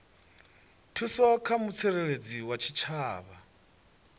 thuso kha mutsireledzi wa tshitshavha